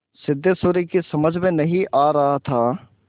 सिद्धेश्वरी की समझ में नहीं आ रहा था